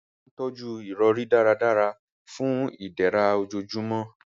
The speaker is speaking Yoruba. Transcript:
A máa n tọ́jú ìrọ̀rí dáradára fun ìdẹ̀ra ojoojúmọ́